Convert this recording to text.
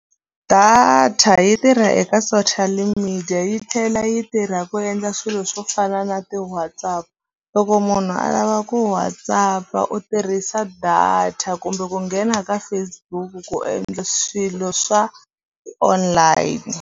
Data yi tirha eka social media yi tlhela yi tirha ku endla swilo swo fana na ti-WhatsApp loko munhu a lava ku WhatsApp-a u tirhisa data kumbe ku nghena ka Facebook ku endla swilo swa online.